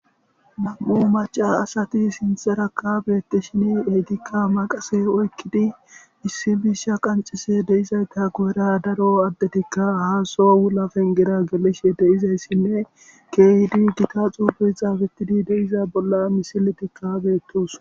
nam7u maca asati sinthara kabeetti shin eegikka maqase oykkidi issi misha qancise deizayta gu7era daro addetikka haaso wulapen gera gelishe deizayssinne keehdi gita xuubuy xaafettidi deiza bolla misiletikkaabeettus.